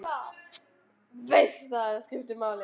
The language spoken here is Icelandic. Veist að þetta skiptir máli.